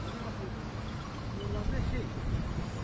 Qoyulan beş şey, beş şey də burdadır.